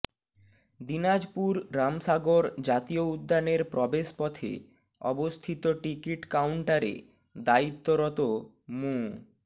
দিনাজপুর রামসাগর জাতীয় উদ্যানের প্রবেশ পথে অবস্থিত টিকিট কাউন্টারে দায়িত্বরত মো